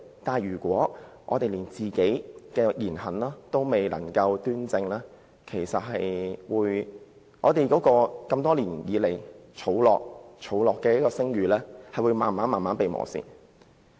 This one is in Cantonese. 不過，如果我們連自己的言行亦未能端正，本會多年來建立的聲譽便會慢慢被磨蝕。